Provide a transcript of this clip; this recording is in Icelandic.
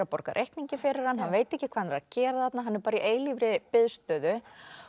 borga reikninginn hann hann veit ekki hvað hann er að gera þarna hann er bara í eilífri biðstöðu